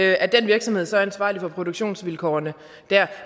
jeg er den virksomhed så ansvarlig for produktionsvilkårene der